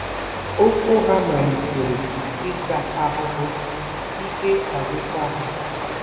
Ụkwụ ha malitere ịta ahụhụ, ike agwụkwa ha.